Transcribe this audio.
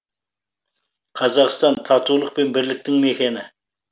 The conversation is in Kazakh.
қазақстан татулық пен бірліктің мекені